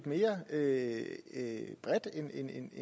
at man en